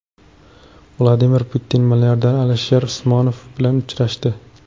Vladimir Putin milliarder Alisher Usmonov bilan uchrashdi.